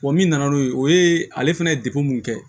Wa min nana n'o ye o ye ale fɛnɛ ye dekun mun kɛ